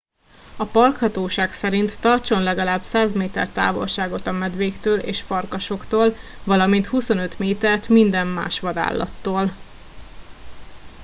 a parkhatóság szerint tartson legalább 100 méter távolságot a medvéktől és farkasoktól valamint 25 métert minden más vadállattól